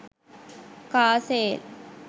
car sale